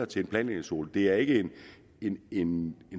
til en planlægningszone det er ikke en